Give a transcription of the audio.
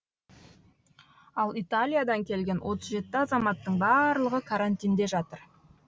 ал италиядан келген отыз жеті азаматтың барлығы карантинде жатыр